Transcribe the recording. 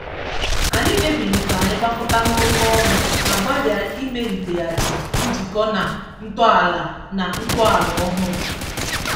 Anyị kpebiri ka anyị gakọta nnọkọ ọnụ ma gbalịa ịmaliteghachi njikọ na ntọala na ntọala ọhụrụ.